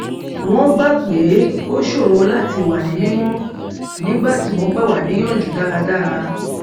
wón gbà pé ó ṣòro láti wà ní mímó nígbà tí wọn gbà wá níyànjú dára dára